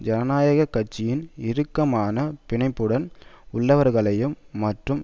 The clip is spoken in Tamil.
ஜனநாயக கட்சியின் இறுக்கமான பிணைப்புடன் உள்ளவர்களையும் மற்றும்